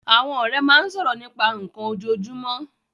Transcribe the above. Àwọn ọ̀rẹ́ máa ń sọ̀rọ̀ nípa nnkan ojoojúmọ́